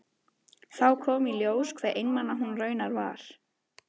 Þá kom í ljós hve einmana hún raunar var.